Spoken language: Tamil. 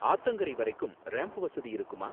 ஆத்தங்கரை வரைக்கும் ரேம்ப் வசதி இருக்குமா?